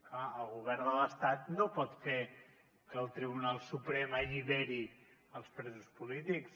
clar el govern de l’estat no pot fer que el tribunal suprem alliberi els presos polítics